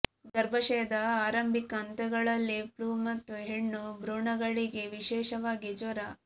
ಗರ್ಭಾಶಯದ ಆರಂಭಿಕ ಹಂತಗಳಲ್ಲಿ ಫ್ಲೂ ಮತ್ತು ಹೆಣ್ಣು ಭ್ರೂಣಗಳಿಗೆ ವಿಶೇಷವಾಗಿ ಜ್ವರ